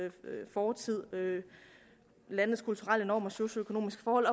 fortid landenes kulturelle normer og socioøkonomiske forhold